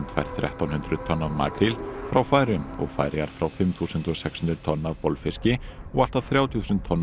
fær þrettán hundruð tonn af makríl frá Færeyjum og Færeyjar fá fimm þúsund sex hundruð tonn af bolfiski og allt að þrjátíu þúsund tonn af